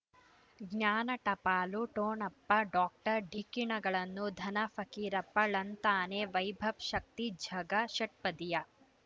ಜ್ಞಾನ ಟಪಾಲು ಠೊಣಪ ಡಾಕ್ಟರ್ ಢಿಕ್ಕಿ ಣಗಳನು ಧನ ಫಕೀರಪ್ಪ ಳಂತಾನೆ ವೈಭವ್ ಶಕ್ತಿ ಝಗಾ ಷಟ್ಪದಿಯ